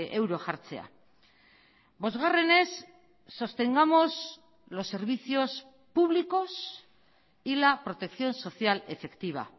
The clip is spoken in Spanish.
euro jartzea bosgarrenez sostengamos los servicios públicos y la protección social efectiva